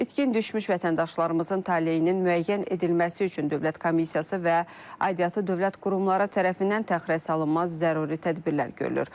İtkin düşmüş vətəndaşlarımızın taleyinin müəyyən edilməsi üçün Dövlət Komissiyası və aidiyyatı dövlət qurumları tərəfindən təxirəsalınmaz zəruri tədbirlər görülür.